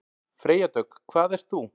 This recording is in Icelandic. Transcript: Freyja Dögg: Hvað ert þú?